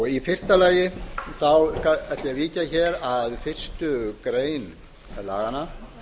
í fyrsta lagi ætla ég að víkja að fyrstu grein laganna